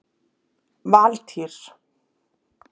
Valtýr